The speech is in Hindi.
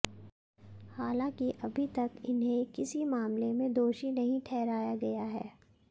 हालांकि अभी तक इन्हें किसी मामले में दोषी नहीं ठहराया गया है